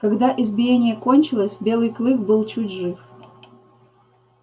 когда избиение кончилось белый клык был чуть жив